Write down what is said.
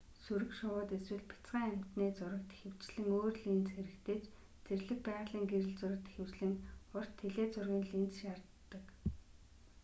сүрэг шувууд эсвэл бяцхан амьтны зурагт ихэвчлэн өөр линз хэрэгтэй ч зэрлэг байгалийн гэрэл зурагт ихэвчлэн урт теле зургийн линз шаарддаг